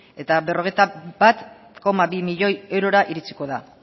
eta berrogeita bat koma bi milioi eurora iritsiko da